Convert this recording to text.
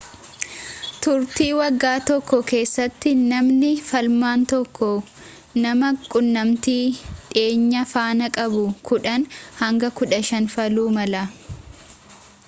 turtii waggaa tokkoo keessatti namni faalamaan tokko nama quunnamtii dhiyeenyaa faana qabu 10 hanga 15 faaluu mala